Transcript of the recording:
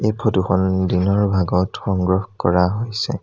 এই ফটো খন দিনৰ ভাগত সংগ্ৰহ কৰা হৈছে।